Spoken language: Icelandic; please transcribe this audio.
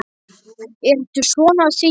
Ertu svona syfjuð?